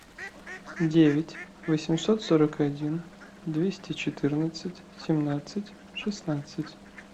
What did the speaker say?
девять восемьсот сорок один двести четырнадцать семнадцать шестнадцать